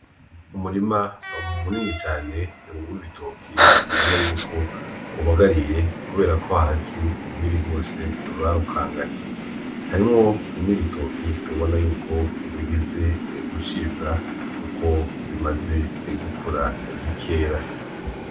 Umurima munini cane w'ibitoki ubona yuko ubagariye kuberako hasi urwiri rwose barukangaje, harimwo n'ibitoke ubona yuko bigeze gucibwa kuko bimaze gukura bikera.